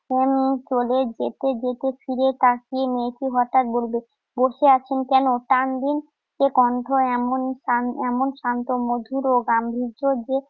উম চলে যেতে যেতে ফিরে তাকিয়ে মেয়েটি হঠাৎ বলবে, বসে আছেন কেন? টান দিন। সে কণ্ঠ এমন শান~ এমন শান্ত, মধুর ও গাম্ভীর্য যে